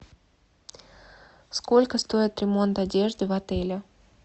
сколько стоит ремонт одежды в отеле